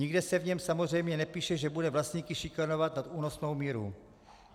Nikde se v něm samozřejmě nepíše, že bude vlastníky šikanovat nad únosnou míru.